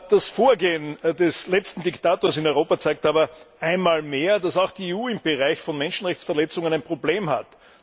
Das Vorgehen des letzten Diktators in Europa zeigt aber einmal mehr, dass auch die EU im Bereich von Menschenrechtsverletzungen ein Problem hat.